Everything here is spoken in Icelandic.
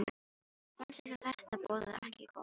Mér fannst eins og þetta boðaði ekki gott.